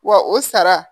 Wa o sara